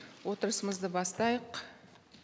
отырысымызды бастайық